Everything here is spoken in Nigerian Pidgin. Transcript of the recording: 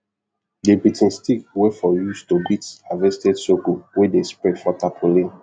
the beating stick wey for use to beat harvested sorghum wey de spread for tarpaulin